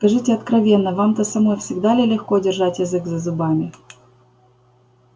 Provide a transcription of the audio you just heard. скажите откровенно вам-то самой всегда ли легко держать язык за зубами